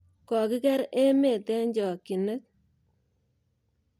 Kokiker emet eng chokinet